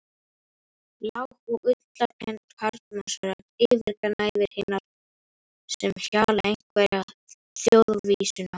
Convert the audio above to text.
Lág og ullarkennd karlmannsrödd yfirgnæfir hinar sem hjala einhverja þjóðvísuna.